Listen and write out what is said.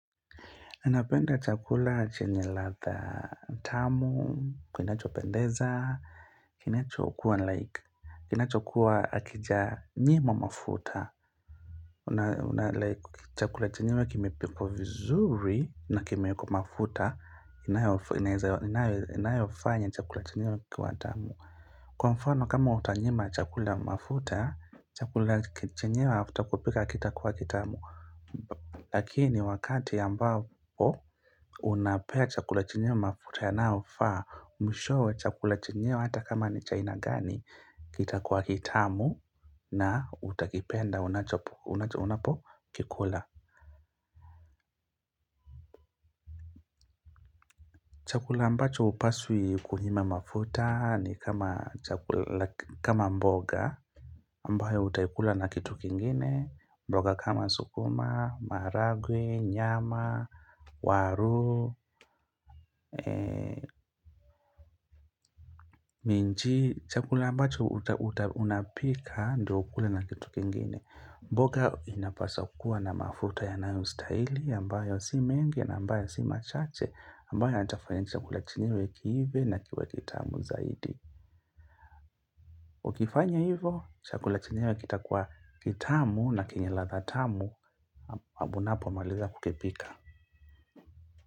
Ninapenda chakula chenye ladha tamu, kinachopendeza, kiinachokuwa like, kinachokuwa hakija njima mafuta. Una like chakula chenyewe kimepikwa vizuri na kimeekwa mafuta, imayoweza inayofanya chakula chenyewe kuwa tamu. Kwa mfano kama utanyima chakula mafuta, chakula chenyewe after kupika hakitakuwa kitamu. Lakini wakati ambao unapea chakula chenyewe mafuta yanyaofaaa mwishowe chakula chenyewe hata kama ni cha aina gani kitakuwa kitamu na utakipenda unapo kikula chakula ambacho hupaswi kunyima mafuta ni kama chakula kama mboga ambayo utaikula na kitu kingine mboga kama sukuma, maharagwe, nyama, waru, minji chakula ambacho utaunapika ndo ukule na kitu kingine. Mboga inapaswa kuwa na mafruta yanayostahili ambayo si mengi na ambayo si machache ambayo yatafanya chakula chenyewe kiive na kiwe kitamu zaidi. Ukifanya hivo, chakula chenyewe kitakuwa kitamu na kenye ladha tamu unapomaliza kukipika.